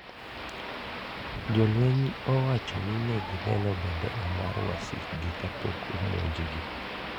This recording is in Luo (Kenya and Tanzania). Jolweny owacho ni negineno bendera mar wasikgi kapok omonj gi